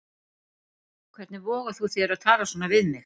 Hvernig vogar þú þér að tala svona við mig.